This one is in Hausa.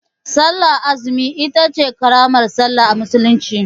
Sallar azumi itace ƙaramar sallah a musulunci